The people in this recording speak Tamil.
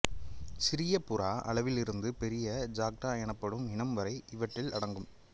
சிறிய புறா அளவிலிருந்து பெரிய ஜாக்டா எனப்படும் இனம் வரை இவற்றில் அடங்கும்